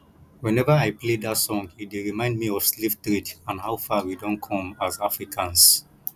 whenever i play dat song e dey remind me of slave trade and how far we don come as africans